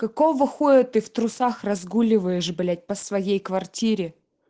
какого хуя ты в трусах разгуливаешь блять по своей квартире